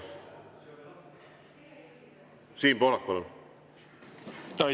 Siim Pohlak, palun!